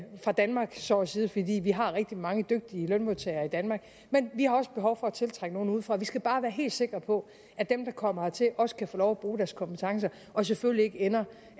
fra danmark så at sige fordi vi har rigtig mange dygtige lønmodtagere i danmark men vi har også behov for at tiltrække nogle udefra vi skal bare være helt sikre på at dem der kommer hertil også kan få lov at bruge deres kompetencer og selvfølgelig ikke ender